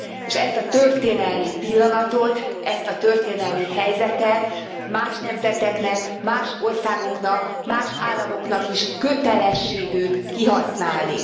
És ezt a történelmi pillanatot, ezt a történelmi helyzetet más nemzeteknek, más országoknak, más államoknak is kötelességük kihasználni.